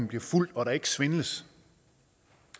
bliver fulgt og at der ikke svindles